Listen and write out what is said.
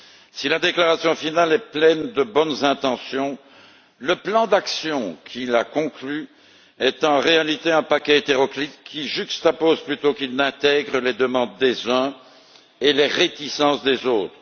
Si la déclaration finale est pleine de bonnes intentions, le plan d'action qui l'a conclu est en réalité un paquet hétéroclite qui juxtapose plutôt qu'il n'intègre les demandes des uns et les réticences des autres.